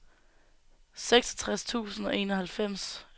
seksogtres tusind og enoghalvfems